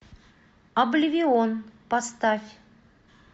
обливион поставь